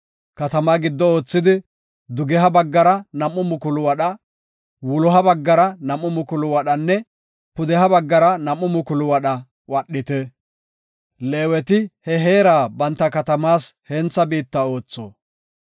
Katamaa giddo oothidi doloha baggara nam7u mukulu wadha, dugeha baggara nam7u mukulu wadha, wuloha baggara nam7u mukulu wadhanne pudeha baggara nam7u mukulu wadha wadhite. Leeweti he heera banta katamaas hentha biitta ootho.